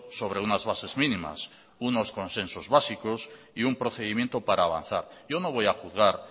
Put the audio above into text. sobre unas bases mínimas unos consensos básicos y un procedimiento para avanzar yo no voy a juzgar